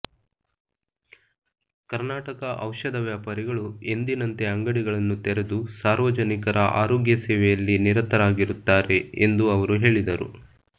ಕರ್ನಾಟಕ ಔಷಧ ವ್ಯಾಪಾರಿಗಳು ಎಂದಿನಂತೆ ಅಂಗಡಿಗಳನ್ನು ತೆರೆದು ಸಾರ್ವಜನಿಕರ ಆರೋಗ್ಯ ಸೇವೆಯಲ್ಲಿ ನಿರತರಾಗಿರುತ್ತಾರೆ ಎಂದು ಅವರು ಹೇಳಿದರು